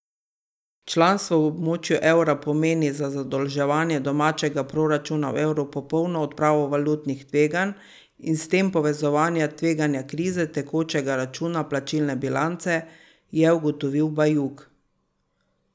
Članstvo v območju evra pomeni za zadolževanje domačega proračuna v evru popolno odpravo valutnih tveganj in s tem povezanega tveganja krize tekočega računa plačilne bilance, je ugotovil Bajuk.